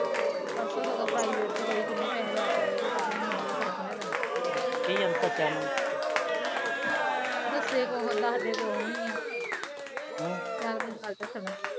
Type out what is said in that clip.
ਪਾਰਸੋ ਸਗੋ ਪਰਾਈਵੇਟ ਚ ਗਈ ਕਿਨੇ ਪੈਸੇ ਲੱਗੇ ਤਾ ਵੀ ਨੀ ਫਰਕ ਹੈਗਾ ਕੀ ਗੱਲ ਦੱਸਿਆ ਉਹਨਾ ਬਸ ਦੱਸਦੇ ਕੁਛ ਨੀ ਖੱਜਲ ਕਰਦੇ ਸਗੋ